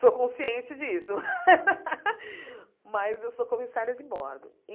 Sou consciente disso, mas eu sou comissária de bordo.